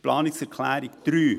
Planungserklärung 3